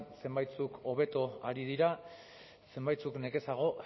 zenbaitzuk hobeto ari dira zenbaitzuk nekezago